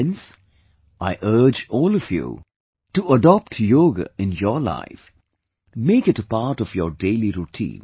Friends, I urge all of you to adopt yoga in your life, make it a part of your daily routine